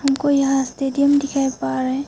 हमको यहां स्टेडियम दिखाई पा रहे--